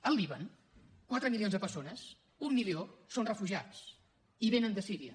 al líban quatre milions de persones un milió són refugiats i venen de síria